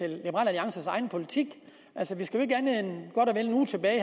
alliances egen politik altså vi skal jo ikke andet end godt en uge tilbage